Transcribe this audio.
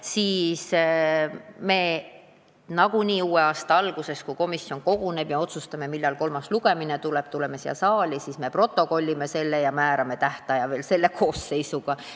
Seetõttu me nagunii uue aasta alguses, kui komisjon koguneb ja otsustab, millal tuleb kolmas lugemine siin saalis, protokollime selle ja määrame tähtaja veel selle koosseisu jaoks.